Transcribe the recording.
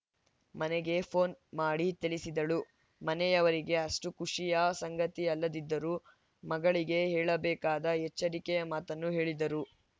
ಮನೆಗೆ ಪೋನ್‌ ಮಾಡಿ ತಿಳಿಸಿದಳು ಮನೆಯವರಿಗೆ ಅಷ್ಟುಖುಷಿಯ ಸಂಗತಿ ಅಲ್ಲದಿದ್ದರೂ ಮಗಳಿಗೆ ಹೇಳಬೇಕಾದ ಎಚ್ಚರಿಕೆಯ ಮಾತನ್ನು ಹೇಳಿದ್ದರು